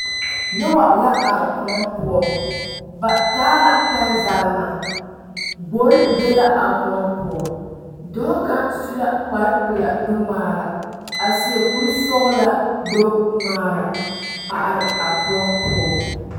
Noba la are koɔ poɔ ba taa la pɛnzagra gbori be la a koɔ poɔ dɔɔ kaŋ su la kparepelaa nuŋmaara a seɛ kurisɔglaa gbɛŋmaara a are a koɔ poɔ.